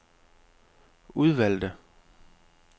udvalgte